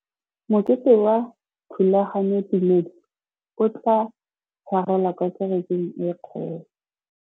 Mokete wa thulaganyôtumêdi o tla tshwarelwa kwa kerekeng e kgolo.